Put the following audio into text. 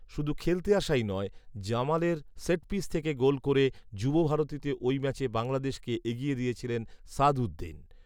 শুধু খেলতে আসাই নয়, জামালের সেটপিস থেকে গোল করে যুবভারতীতে ওই ম্যাচে বাংলাদেশকে এগিয়ে দিয়েছিলেন সাদঊদ্দিন